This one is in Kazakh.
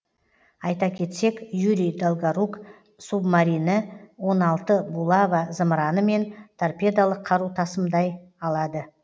айта кетсек юрий долгорук субмарині он алты булава зымыраны мен торпедолық қару тасымдай алады